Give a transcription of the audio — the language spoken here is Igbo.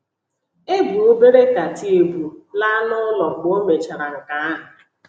E bu obere Katie ebu laa n’ụlọ mgbe ọ mèchàrà nke ahụ.